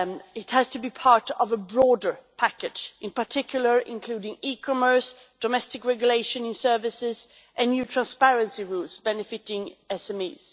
it has to be part of a broader package, in particular, including e commerce, domestic regulation in services and new transparency rules benefiting SMEs.